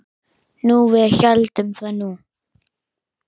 Jú, við héldum það nú.